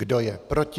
Kdo je proti?